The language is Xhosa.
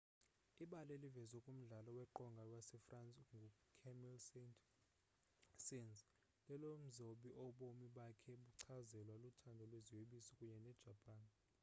ibali elivezwe kumdlalo weqonga wasefrance ngucamille saint-saens lelomzobi obomi bakhe buchazelwa luthando lweziyobisi kunye nejapan